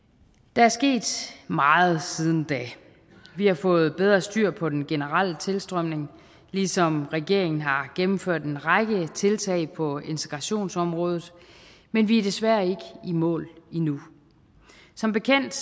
der er sket meget siden da vi har fået bedre styr på den generelle tilstrømning ligesom regeringen har gennemført en række tiltag på integrationsområdet men vi er desværre ikke i mål endnu som bekendt